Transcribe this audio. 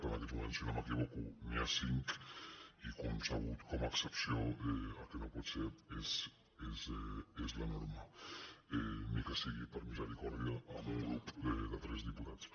en aquests moments si no m’equivoco n’hi ha cinc i concebut com a excepció el que no pot ser és la norma ni que sigui per misericòrdia amb un grup de tres diputats